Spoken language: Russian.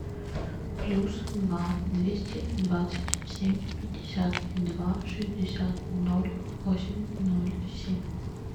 плюс два двести двадцать семь пятьдесят два шестьдесят ноль восемь ноль семь